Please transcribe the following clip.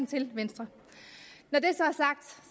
til venstre